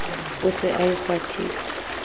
o se a e kgwathile